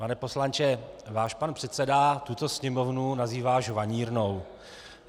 Pane poslanče, váš pan předseda tuto Sněmovnu nazývá žvanírnou.